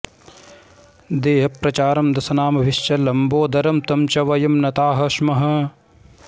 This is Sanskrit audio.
देहप्रचारं दशनामभिश्च लम्बोदरं तं च वयं नताः स्मः